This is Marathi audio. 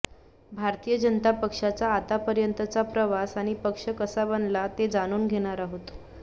भारतीय जनता पक्षाचा आतापर्यंतचा प्रवास आणि पक्ष कसा बनला ते जाणून घेणार आहोत